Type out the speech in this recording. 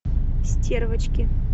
стервочки